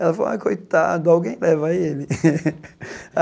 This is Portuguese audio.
Ela falou, ai coitado, alguém leva ele.